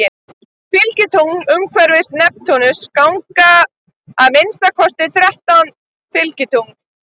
Fylgitungl Umhverfis Neptúnus ganga að minnsta kosti þrettán fylgitungl.